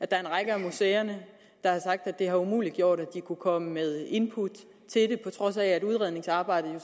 der er en række af museerne der har sagt at det har umuliggjort at de kunne komme med input til det på trods af at udredningsarbejdet jo